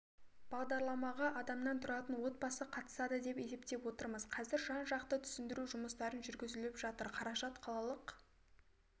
бағдарламаға адамнан тұратын отбасы қатысады деп есептеп отырмыз қазір жан-жақты түсіндіру жұмыстары жүргізіліп жатыр қаражат қалалық